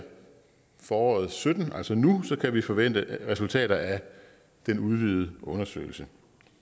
foråret og sytten altså nu kan vi forvente resultater af den udvidede undersøgelse